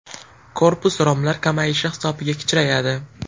Korpus romlar kamayishi hisobiga kichrayadi.